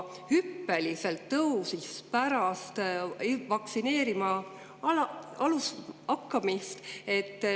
Hüppeliselt tõusis see pärast vaktsineerima hakkamist.